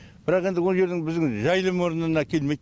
бірақ енді ол жердің біздің жайылым орнына келмейді